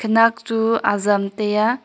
nak chu azam tai aa.